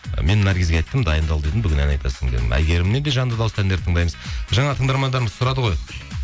мен наргизге айттым дайындал дедім бүгін ән айтасың дедім әйгерімнен де жанды дауыста әндер тыңдаймыз жаңа тыңдармандырымыз сұрады ғой